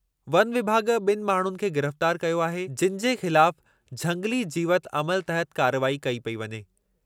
One विभाॻ ॿिनि माण्हुनि खे गिरफ़्तार कयो आहे, जिनि जे ख़िलाफु झंगिली जीवती अमलु तहति कार्रवाई कई पेई वञे।